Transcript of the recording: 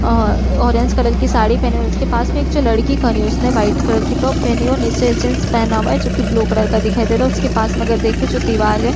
आ orange colour की साड़ी पहने हुए है। उसके पास में एक जो लड़की खड़ी है उसने व्हाइट कलर की टॉप पहनी है और नीचे जींस पहना हुआ है जो की ब्लू कलर का दिखाई दे रहा है। उसके पास में अगर देखे जो दीवाल है।